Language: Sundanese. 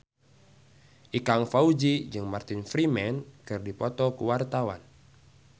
Ikang Fawzi jeung Martin Freeman keur dipoto ku wartawan